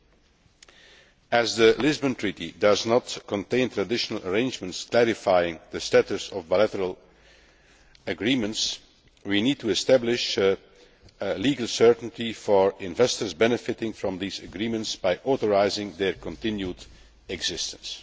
Because the Lisbon Treaty does not contain arrangements clarifying the status of bilateral agreements, we need to establish legal certainty for investors benefiting from these agreements by authorising their continued existence.